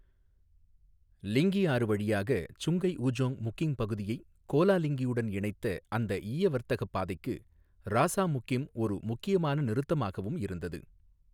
லிங்கி ஆறு வழியாக Sungai Ujong முக்கிம் பகுதியைக் கோலா லிங்கியுடன் இணைத்த அந்த ஈய வர்த்தகப் பாதைக்கு ராசா முக்கிம் ஒரு முக்கியமான நிறுத்தமாகவும் இருந்தது.